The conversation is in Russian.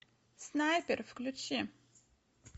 снайпер включи